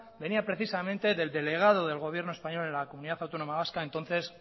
venía precisamente del delegado del gobierno español en la comunidad autónoma vasca entonces